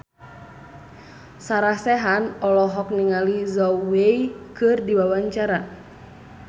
Sarah Sechan olohok ningali Zhao Wei keur diwawancara